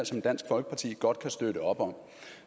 som dansk folkeparti godt kan støtte op om